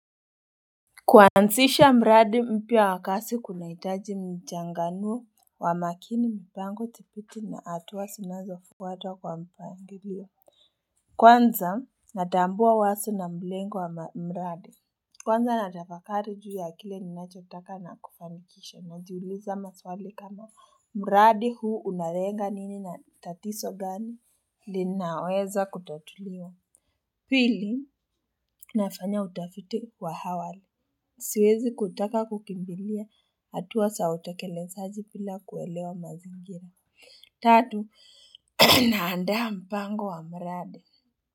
Kwansisha mradi mpya wa kasi kunaitaji mjanganuo wa makini mpango tipiti na atuwa sinazo fuatwa kwa mpangilio Kwanza natambua waso na mlengo wa mradi Kwanza natafakari juu ya akile ninachotaka na kufanikisha najuuliza maswali kama mradi huu unarenga nini na tatiso gani linaweza kutotuliwa Hili nafanya utafiti wa hawali Siwezi kutaka kukimbilia hatuwa sa utakelesaji pila kuelewa mazingira Tatu naandaa mpango wa mradi.